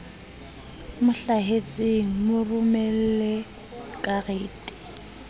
mo hlahetseng mo romelle karete